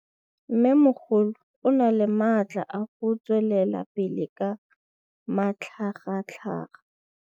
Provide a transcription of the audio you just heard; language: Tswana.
Mmêmogolo o na le matla a go tswelela pele ka matlhagatlhaga.